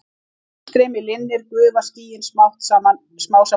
Þegar uppstreymi linnir gufa skýin smám saman upp.